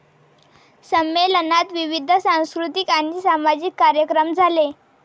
संमेलनात विविध सांस्कृतिक आणि सामाजिक कार्यक्रम झाले.